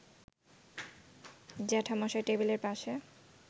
জ্যাঠামশায় টেবিলের পাশে